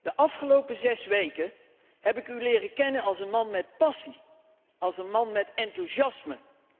De afgelopen zes weken heb ik u leren kennen als een man met passie, als een man met enthousiasme.